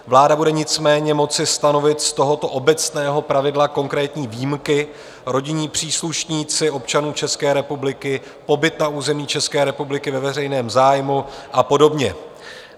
Vláda bude nicméně moci stanovit z tohoto obecného pravidla konkrétní výjimky - rodinní příslušníci občanů České republiky, pobyt na území České republiky ve veřejném zájmu a podobně.